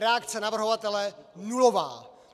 Reakce navrhovatele nulová!